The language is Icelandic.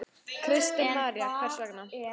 Kristín María: Hvers vegna?